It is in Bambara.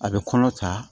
A bɛ kɔnɔ ta